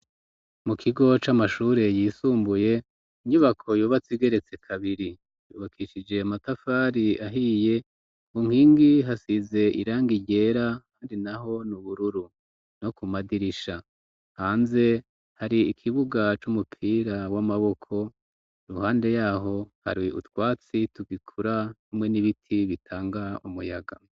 Mu kigo c'amashure yisumbuye inyubako yubatseigeretse kabiri yubakishije matafari ahiye munkingi hasize iranga iryera hari na ho n'ubururu no ku madirisha hanze hari ikibuga c'umupira w'amaboko ruhande yaho hari utwatsi tugikura umwe n'ibiti bitanga umuyaga.